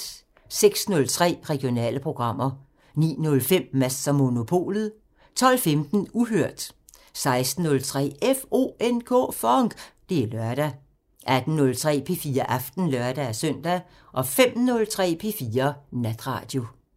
06:03: Regionale programmer 09:05: Mads & Monopolet 12:15: Uhørt 16:03: FONK! Det er lørdag 18:03: P4 Aften (lør-søn) 05:03: P4 Natradio